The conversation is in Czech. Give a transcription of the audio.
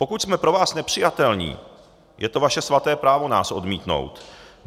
Pokud jsme pro vás nepřijatelní, je to vaše svaté právo nás odmítnout.